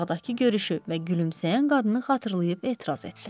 Bağdakı görüşü və gülümsəyən qadını xatırlayıb etiraz etdi.